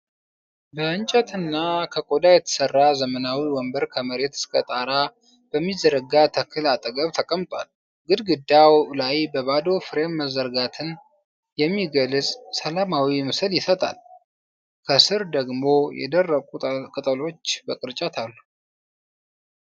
ከእንጨትና ከቆዳ የተሠራ ዘመናዊ ወንበር ከመሬት እስከ ጣራ በሚዘረጋ ተክል አጠገብ ተቀምጧል። ግድግዳው ላይ በባዶ ፍሬም መረጋጋትን የሚገልጽ ሰላማዊ ምስል ይሰጣል፤ ከሥር ደግሞ የደረቁ ቅጠሎች በቅርጫት አሉ።